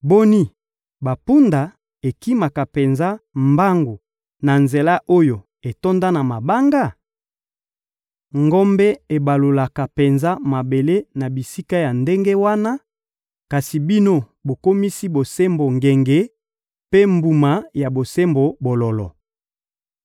Boni, bampunda ekimaka penza mbangu na nzela oyo etonda na mabanga? Ngombe ebalolaka penza mabele na bisika ya ndenge wana? Kasi bino bokomisi bosembo ngenge, mpe mbuma ya bosembo bololo.